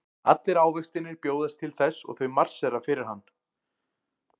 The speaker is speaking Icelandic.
Allir ávextirnir bjóðast til þess og þau marsera fyrir hann.